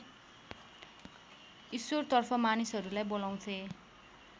ईश्वरतर्फ मानिसहरूलाई बोलाउँथे